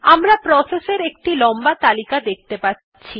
আমরা প্রসেস এর একটি লম্বা তালিকা দেখতে পাচ্ছি